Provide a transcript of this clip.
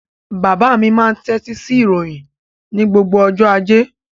Bàbá mi máa ń tẹ́tí sí ìròyìn ní gbogbo ọjọ́ ajé.